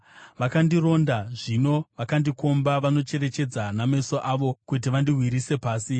Vakandironda, zvino vandikomba, vanocherechedza nameso avo kuti vandiwisire pasi.